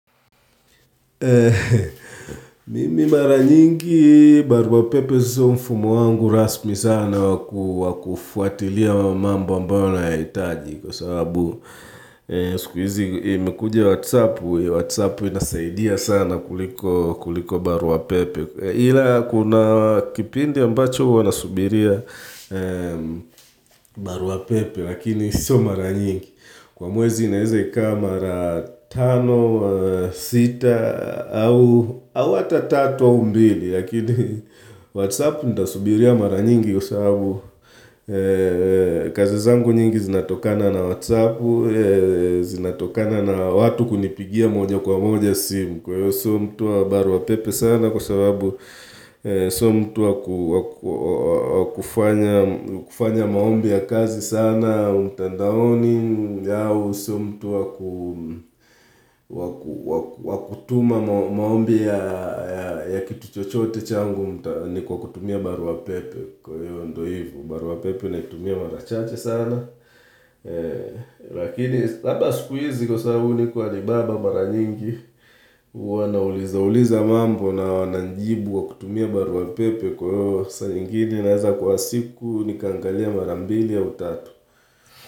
Mimi mara nyingi barua pepe sio mfumo wangu rasmi sana wa kufuatilia mambo ambayo nayaitaji kwa sababu Sikuizi imekuja whatsappu, whatsappu inasaidia sana kuliko barua pepe Hila kuna kipindi ambacho huwa nasubiria barua pepe lakini sio mara nyingi Kwa mwezi naeze kaa mara tano, sita au ata tatu au mbili Yakini whatsapp ntasubiria mara nyingi kwa sababu kazi zangu nyingi zinatokana na whatsappu Zinatokana na watu kunipigia moja kwa moja simu Kwa hiyo sio mtu wa baruwa pepe sana kwa sababu Sio mtu wa kufanya maombi ya kazi sana mtandaoni hau sio mtu wa kutuma maombi ya kitu chochote changu ni kwa kutumia barua pepe kwa hiyo ndo hivo barua pepe naitumia mara chache sana lakini labda sikuizi kwa sababu niko wanibamba mara nyingi huwa nauliza uliza mambo wananijibu kwa kutumia barua pepe kwa hiyo saa ingine naeza kwa siku nikaangalia mara mbili au tatu.